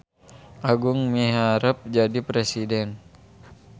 Agung miharep jadi presiden